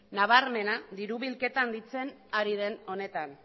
nabarmena diru bilketa handitzen ari den honetan